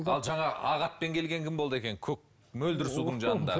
ал жаңағы ақ атпен келген кім болды екен көк мөлдір судың жанындағы